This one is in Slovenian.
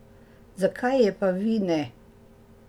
Zakaj je pa vi ne?